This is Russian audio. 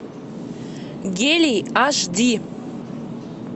гелий аш ди